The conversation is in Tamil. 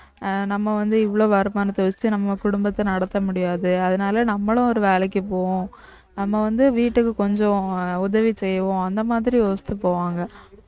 அஹ் நம்ம வந்து இவ்வளவு வருமானத்தை வச்சுட்டு நம்ம குடும்பத்த நடத்த முடியாது அதனால நம்மளும் ஒரு வேலைக்கு போவோம் நம்ம வந்து வீட்டுக்கு கொஞ்சம் உதவி செய்வோம் அந்த மாதிரி யோசித்து போவாங்க